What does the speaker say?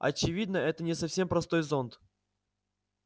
очевидно это не совсем простой зонт